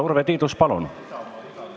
Urve Tiidus, palun!